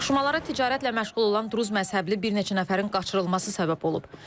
Toqquşmalara ticarətlə məşğul olan duruz məzhəbli bir neçə nəfərin qaçırılması səbəb olub.